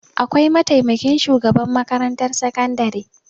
Akwai mataimakin shugaban makarantar sakandare.